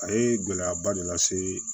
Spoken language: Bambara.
A ye gɛlɛyaba de lase